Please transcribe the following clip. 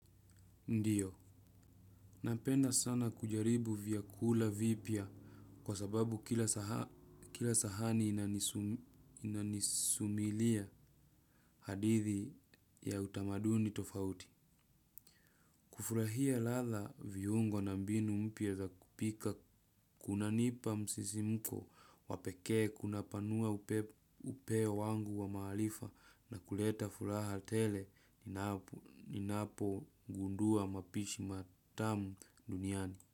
Ndiyo, napenda sana kujaribu vyakula vipya kwa sababu kila sahani inanisumilia hadithi ya utamaduni tofauti. Kufurahia ladha, viungo na mbinu mpya za kupika kunanipa msisimko wa pekee kunapanua upeo wangu wa maarifa na kuleta furaha tele. Ninapogundua mapishi matamu duniani.